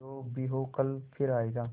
जो भी हो कल फिर आएगा